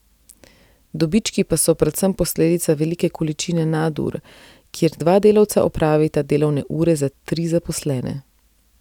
Dobički pa so predvsem posledica velike količine nadur, kjer dva delavca opravita delovne ure za tri zaposlene.